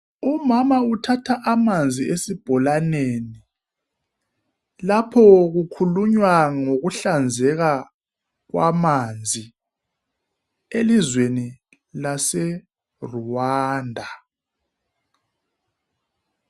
Umama uthatha amanzi esibholaneni lapho kukhulunywa ngokuhlanzeka kwamanzi elizweni lase Rwanda.